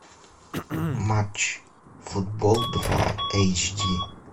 матч футбол два эйч ди